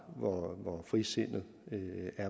og frisindet